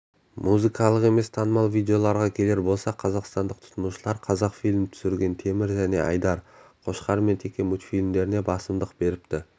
музыкалық емес танымал видеоларға келер болсақ қазақстандық тұтынушылар қазақфильм түсірген темір және айдар қошқар мен теке мультфильмдеріне басымдық беріпті